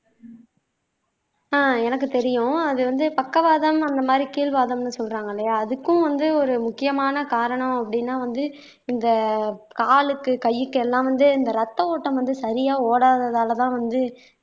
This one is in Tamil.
அஹ் எனக்கு தெரியும் அது வந்து பக்கவாதம் அந்த மாதிரி கீழ் வாதம்ன்னு சொல்றாங்க இல்லையா அதுக்கும் வந்து ஒரு முக்கியமான காரணம் அப்படின்னா வந்து இந்த காலுக்கு கைக்கு எல்லாம் வந்து இந்த ரத்த ஓட்டம் வந்து சரியா ஓடாததாலதான் வந்து